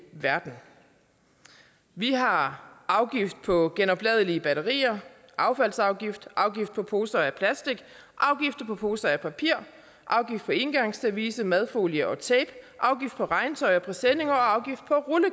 verden vi har afgift på genopladelige batterier affaldsafgift afgift på poser af plastik afgift på poser af papir afgift på engangsservice madfolie og tape afgift på regntøj og presenninger og afgift på